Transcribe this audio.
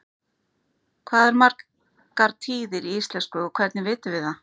hvað eru margar tíðir í íslensku og hvernig vitum við það